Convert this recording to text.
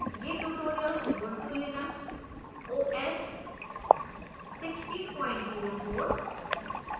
यह tutorial ubuntu linux os 1604